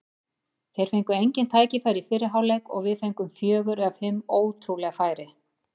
Þeir fengu engin tækifæri í fyrri hálfleik og við fengum fjögur eða fimm ótrúleg færi.